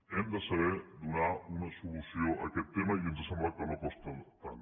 hem de saber donar una solució a aquest tema i ens ha semblat que no costa tant